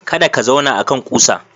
Kada ka zauna akan ƙusa.